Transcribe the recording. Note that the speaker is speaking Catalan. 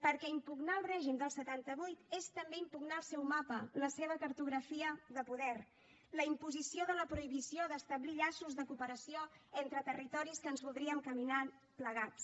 perquè impugnar el règim del setanta vuit és també impugnar el seu mapa la seva cartografia de poder la imposició de la prohibició d’establir llaços de cooperació entre territoris que ens voldríem caminant plegats